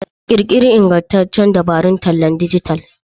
Ƙirƙiri iingantaccen dabarun tallan dijital.